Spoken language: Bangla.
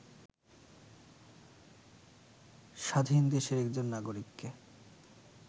স্বাধীন দেশের একজন নাগরিককে